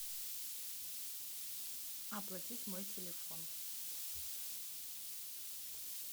оплатить мой телефон